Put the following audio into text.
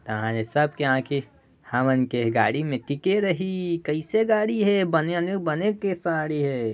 तहा ले सबके आँखि हमन के गाड़ी मे टिके रइही कइसे गाड़ी हे बने आनि बने के साड़ी है।